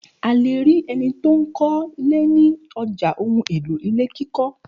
A le rí ẹni tó ń kọ́lé ní ọjà ohun-èlò ilé kíkọ́.